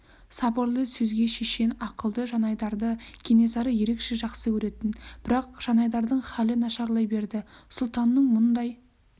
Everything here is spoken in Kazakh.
сабырлы сөзге шешен ақылды жанайдарды кенесары ерекше жақсы көретін бірақ жанайдардың халі нашарлай берді сұлтанның мұндай